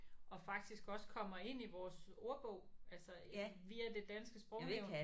Og faktisk også kommer ind i vores ordbog altså via det danske sprognævn